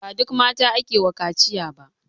Ba duk mata ake wa kaciya ba.